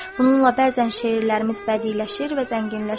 Bununla bəzən şeirlərimiz bədiləşir və zənginləşir.